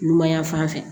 Numan yan fan fɛ